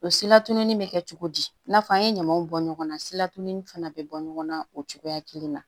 O silatunni bɛ kɛ cogo di i n'a fɔ an ye ɲamaw bɔ ɲɔgɔn na silatunin fana bɛ bɔ ɲɔgɔn na o cogoya kelen na